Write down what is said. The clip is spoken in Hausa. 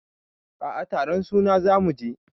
A a taron suna za mu je.